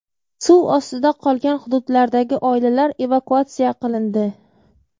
Suv ostida qolgan hududlardagi oilalar evakuatsiya qilindi.